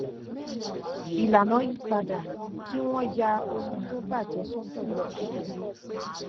ìlànà yí padà kí wọn ya ohun tó bà jé sọtọ ju télè lọ